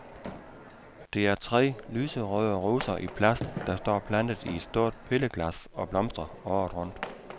Det er tre lyserøde roser i plast, der står plantet i et stort pilleglas og blomstrer året rundt.